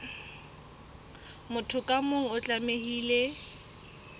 motho ka mong o tlamehile